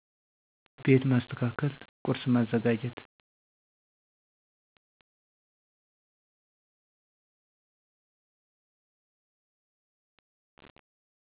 ቤት ማሰተካከል ቆርስ ማዘጋጀት